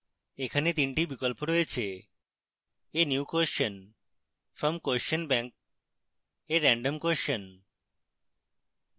এখানে 3 টি বিকল্প রয়েছে: